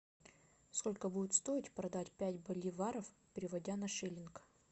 сколько будет стоить продать пять боливаров переводя на шиллинг